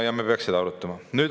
Ja me peaksime seda arutama.